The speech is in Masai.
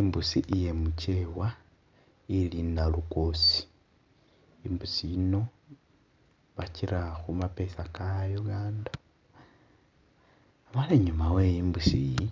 Imbusi iye mugyewa ilinda lugoosi imbusi yino bagira khumapeesa ga Uganda inyuma we imbusi iyi